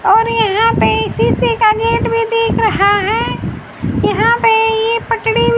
और यहां पे एक शीशे का गेट भी दिख रहा है यहां पे ये पटडी --